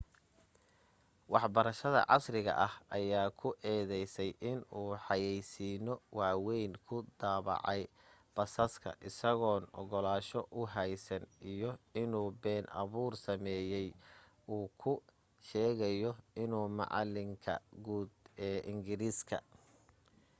waxbarashada casriga ah ayaa ku eedaysay inuu xayaysiino waawayn ku daabacay basaska isagoon ogolaansho u haysan iyo inuu been abuur sameeyay uu ku sheegayo inuu macalinka guud ee ingiriisiga